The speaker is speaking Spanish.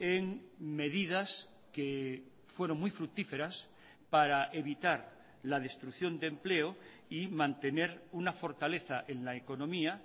en medidas que fueron muy fructíferas para evitar la destrucción de empleo y mantener una fortaleza en la economía